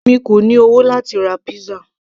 èmi kò ní owó láti ra pizza